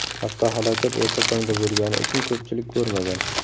Avtohalokat erta tongda bo‘lgani uchun ko‘pchilik ko‘rmagan.